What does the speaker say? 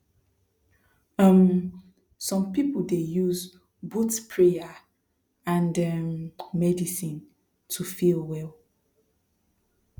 um some people dey use both prayer and um medicine to feel well